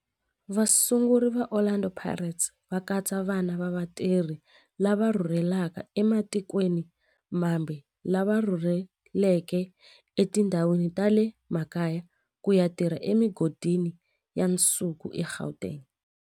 Vasunguri va Orlando Pirates va katsa vana va vatirhi lava rhurhelaka ematikweni mambe lava rhurheleke etindhawini ta le makaya ku ya tirha emigodini ya nsuku eGauteng.